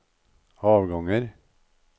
avganger